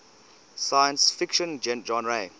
science fiction genre